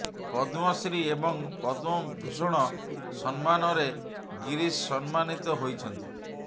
ପଦ୍ମଶ୍ରୀ ଏବଂ ପଦ୍ମ ଭୂଷଣ ସମ୍ମାନରେ ଗୀରିଶ ସମ୍ମାନିତ ହୋଇଛନ୍ତି